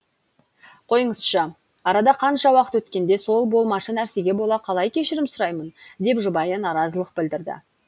қойыңызшы арада қанша уақыт өткенде сол болмашы нәрсеге бола қалай кешірім сұраймын деп жұбайы наразылық білдірді